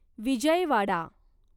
Vijayawada